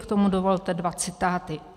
K tomu dovolte dva citáty.